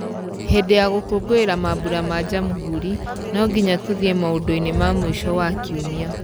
Hĩndĩ ya gũkũngũĩra mambura ma Jamũhũri no nginya tũthiĩ maũndũinĩ ma mũico wa kiumia.